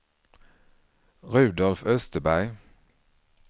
Rudolf Österberg